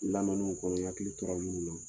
kɔnɔ n hakili to la olu min na.